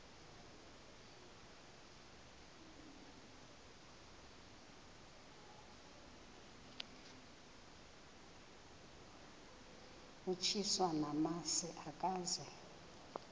utyiswa namasi ukaze